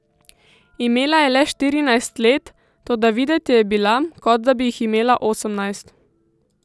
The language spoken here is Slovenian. Imela je le štirinajst let, toda videti je bila, kot bi jih imela osemnajst.